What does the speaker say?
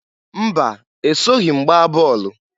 Mba! Esoghi m gbaa bọọlụ.